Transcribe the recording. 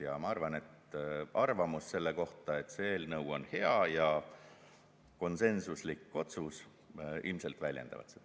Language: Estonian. Ja küllap arvamus selle kohta, et see eelnõu on hea, ja konsensuslik otsus ilmselt väljendavad seda.